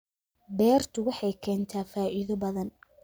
Beertu waxay keentaa faa'iido badan